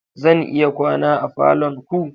Zan iya kwana a falon ku?